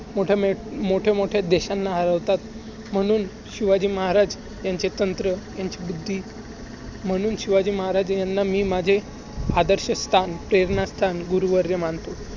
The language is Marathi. मोठ्या मे~ मोठ्या मोठ्या देशांना आवडतात. म्हणून शिवाजी महाराज ह्यांचे तंत्र ह्यांची बुद्धी~ म्हणून शिवाजी महाराज ह्यांना मी माझे आदर्शस्थान, प्रेरणास्थान गुरुवर्य मानतो.